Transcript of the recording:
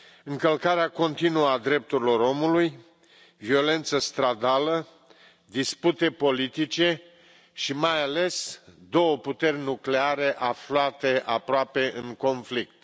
Încălcarea continuă a drepturilor omului, violență stradală, dispute politice și, mai ales, două puteri nucleare aflate aproape în conflict.